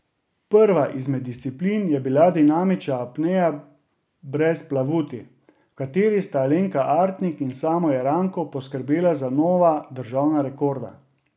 Prva izmed disciplin je bila dinamična apnea brez plavuti, v kateri sta Alenka Artnik in Samo Jeranko poskrbela za nova državna rekorda.